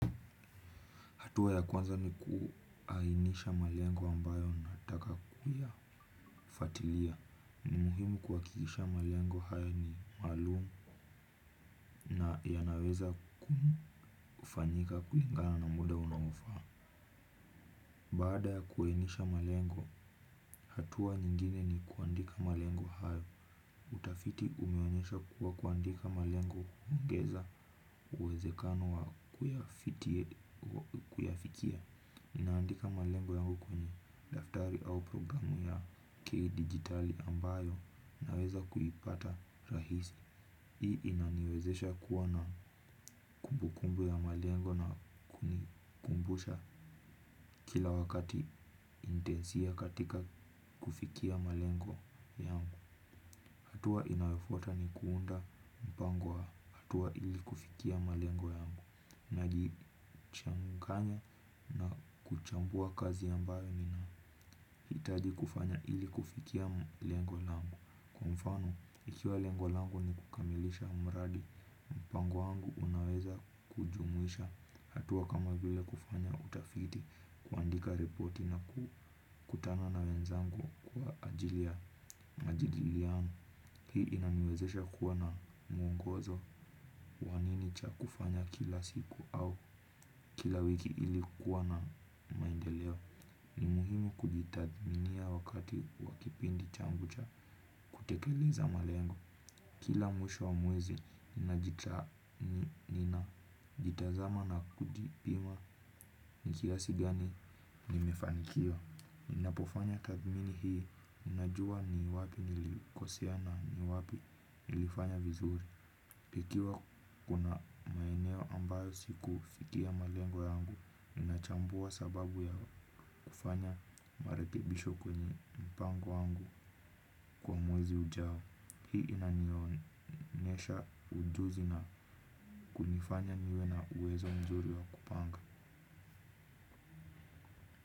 Hatua ya kwanza ni kuainisha malengo ambayo unataka kuyafatilia. Muhimu kuhakikisha malengo haya ni maalumu na yanaweza kufanyika kulingana na muda unaofa. Baada ya kuainisha malengo, hatuwa nyingine ni kuandika malengo hayo. Utafiti umeonyesha kuwa kuandika malengo huongeza uwezekano wa kuyafikia. Ninaandika malengo yangu kwenye daftari au programu ya kidigitali ambayo naweza kuipata rahisi. Hii inaniwezesha kuwa na kumbukumbu ya malengo na kunikumbusha kila wakati intensia katika kufikia malengo yangu. Hatua inayofuata ni kuunda mpango wa hatua ili kufikia malengo yangu. Najichanganya na kuchambua kazi ambayo nina hitaji kufanya ili kufikia lengo lango. Kwa mfano, ikiwa lengo lango ni kukamilisha mradi mpango wangu unaweza kujumwisha hatua kama vile kufanya utafiti, kuandika ripoti na kukutana na wenzangu kwa ajili ya majadiliano, hii inaniwezesha kuwa na muongozo wa nini cha kufanya kila siku au kila wiki ili kuwa na maendeleo, ni muhimu kujitathminia wakati wa kipindi changu cha. Kutekeleza malengo, kila mwisho wa mwezi, ninajitazama na kujipima ni kiasi gani nimefanikiwa. Ninapofanya tathmini hii, ninajua ni wapi nilikosea na ni wapi nilifanya vizuri. Ikiwa kuna maeneo ambayo sikufikia malengo yangu, ninachambua sababu ya kufanya marekebisho kwenye mpango wangu kwa mwezi ujao. Hii inanionyesha ujuzi na kunifanya niwe na uwezo mzuri wa kupanga.